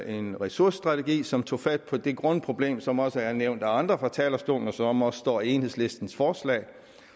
en ressourcestrategi som tog fat på det grundproblem som også er nævnt af andre fra talerstolen og som også står i enhedslistens forslag